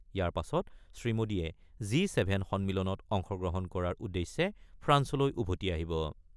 ইয়াৰ পাছত শ্ৰীমোদীয়ে জি-ছেভেন সন্মিলনত অংশগ্ৰহণ কৰাৰ উদ্দেশ্যে ফ্ৰান্সলৈ উভতি আহিব।